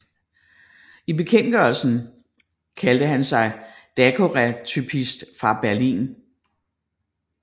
I bekendtgørelsen kaldte han sig daguerreotypist fra Berlin